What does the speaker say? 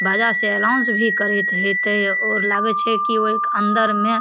बाजा से अनाउंस भी करत हेते और लागे छै कि ओके अंदर में --